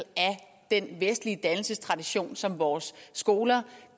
den vestlige dannelsestradition som vores skoler